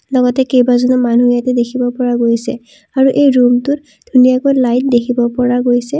লগতে কেইবাজনো মানুহ ইয়াতে দেখিব পৰা গৈছে আৰু এই ৰুমটোত ধুনীয়াকৈ লাইট দেখিব পৰা গৈছে।